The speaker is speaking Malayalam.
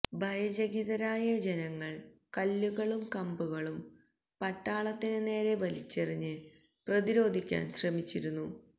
ഭയചകിതരായി ജനങ്ങൾ കല്ലുകളും കമ്പുകളും പട്ടാളത്തിന് നേരെ വലിച്ചെറിഞ്ഞ് പ്രതിരോധിക്കാൻ ശ്രമിച്ചിരുന്നു